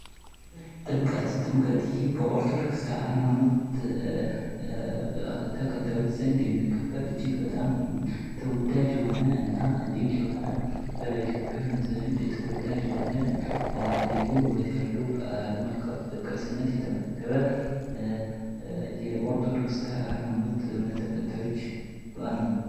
ጥምቀት ጥምቀት ይህ በኦርቶዶክስ ሃይማኖት ተከታዩች ዘንድ የሚከበር፥ እጅግ በጣም ተወዳጅና ድንቅ የሆነ በኢትዮጵያውያን ዘንድ ተወዳጅ የሆነ፥ ልዩ ውበት ያለው፥ በዓለም አቀፍ ቅርስነት የተመዘገበ የኦርቶዶክስ ሀይማኖት እምነት ተከታዮች በዓል ነው።